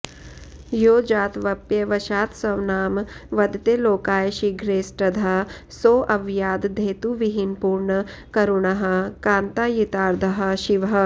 यो जात्वप्यवशात्स्वनाम वदते लोकाय शीघ्रेष्टदः सोऽव्याद्धेतुविहीनपूर्णकरुणः कान्तायितार्धः शिवः